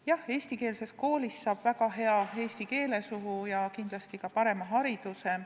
Jah, eestikeelses koolis saab väga hea eesti keele suhu ja kindlasti ka parema hariduse.